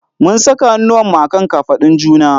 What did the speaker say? Mun saka hannuwanmu a kan kafadun juna.